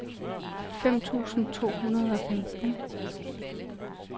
fem tusind to hundrede og femten